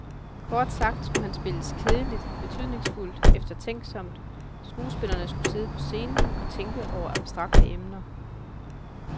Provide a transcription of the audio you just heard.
Kort sagt skulle han spilles kedeligt, betydningsfuldt, eftertænksomt, skuespillerne skulle sidde på scenen og tænke over abstrakte emner.